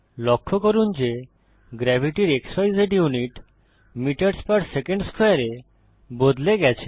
লক্ষ্য করুন যে গ্রেভিটির ক্সিজ ইউনিট মিটারস পের সেকেন্ড স্কোয়ারে এ বদলে গেছে